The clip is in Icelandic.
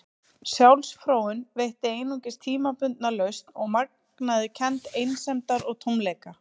Sjálfsfróun veitti einungis tímabundna lausn og magnaði kennd einsemdar og tómleika.